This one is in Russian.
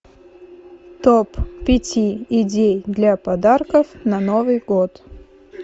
топ пяти идей для подарков на новый год